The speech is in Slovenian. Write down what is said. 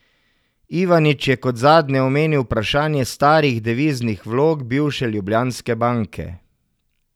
Ivanić je kot zadnje omenil vprašanje starih deviznih vlog bivše Ljubljanske banke.